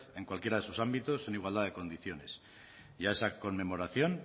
en cualquiera de sus ámbitos en igualdad de condiciones y a esa conmemoración